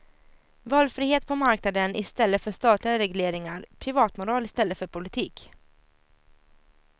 Valfrihet på marknaden i stället för statliga regleringar, privatmoral istället för politik.